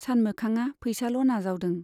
सानमोखांआ पैसाल' नाजावदों।